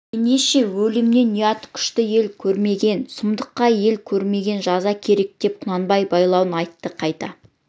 ендеше өлімнен ұят күшті ел көрмеген сұмдыққа ел көрмеген жаза керек деп құнанбай байлауын айтты қайта